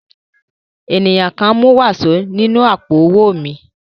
Ènìyàn kan mú wàsó nínú àpò-owó mi.